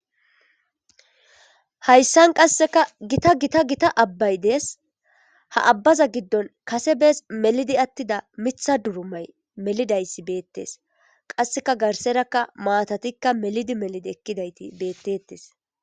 Hayssan qasseka gita gita gita abbay dees ha abbaza giddon kase bees melidi attida mitha durumay melidayssi beettes qasseka garserakka maatatikka melidi melidi ekkidayti beettettes.